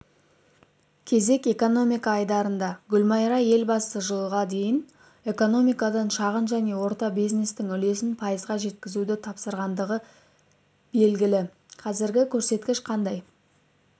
кезек экономика айдарында гүлмайра елбасы жылға дейін экономикадағы шағын және орта бизнестің үлесін пайызға жеткізуді тапсырғандығы белігі қазіргі көрсеткіш қандай